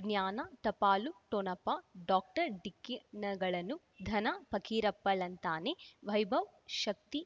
ಜ್ಞಾನ ಟಪಾಲು ಠೊಣಪ ಡಾಕ್ಟರ್ ಢಿಕ್ಕಿ ಣಗಳನು ಧನ ಫಕೀರಪ್ಪ ಳಂತಾನೆ ವೈಭವ್ ಶಕ್ತಿ